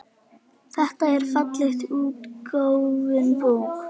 Þetta er fallega útgefin bók.